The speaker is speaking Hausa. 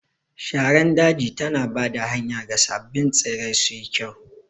Shara daji tana ba da hanya ga sabbin tsirrai suyi kyau.